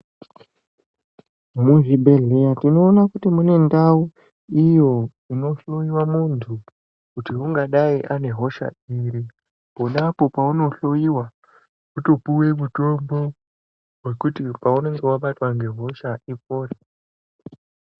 Muzvibhedhleya tinoona kuti mune ndau iyo inohloyiwa muntu kuti ungadai ane hosha iri. Ponapo paunohloiwa wotopuwe mutombo wekuti paunenge wabatwa ngehosha ipore.